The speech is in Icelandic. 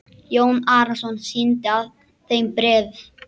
Jón Arason sýndi þeim bréf.